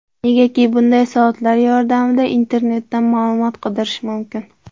Negaki bunday soatlar yordamida internetdan ma’lumot qidirish mumkin.